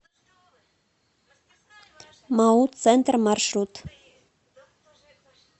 мау центр маршрут